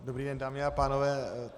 Dobrý den, dámy a pánové.